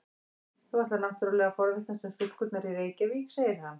Þú ætlar náttúrlega að forvitnast um stúlkurnar í Reykjavík, segir hann.